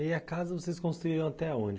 E, a casa, vocês construíram até onde?